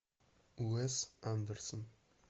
уэс андерсон